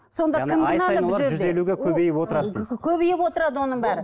көбейіп отырады оның бәрі